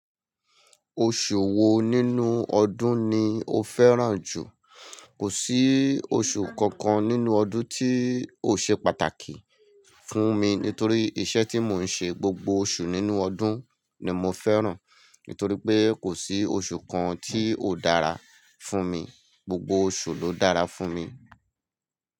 Oṣù wo nínú ọdún ni o fẹ́ràn jù? Kò sí oṣù kankan nínú ọdún tí ò ṣe pàtàkì fún mi nítorí iṣẹ́ tí mò ń ṣe, gbogbo oṣù nínú ọdún ni mo fẹ́ràn. Nítorí pé kò sí oṣù kan tí ò dára fún mi, gbogbo oṣù ló dára fún mi.